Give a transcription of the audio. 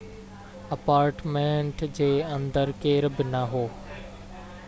apartment جي اندر ڪير بہ نہ هو